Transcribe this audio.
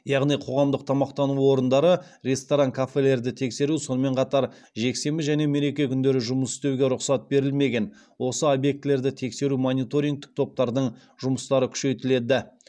яғни қоғамдық тамақтану орындары ресторан кафелерді тексеру сонымен қатар жексенбі және мереке күндері жұмыс істеуге рұқсат берілмеген осы объектілерді тексеру мониторингтік топтардың жұмыстары күшейтіледі